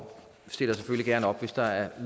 stiller selvfølgelig gerne op hvis der er